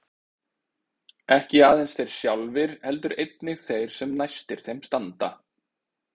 Ekki aðeins þeir sjálfir heldur einnig þeir sem næstir þeim standa.